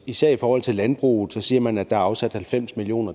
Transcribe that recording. især i forhold til landbruget der siger man at der er afsat halvfems million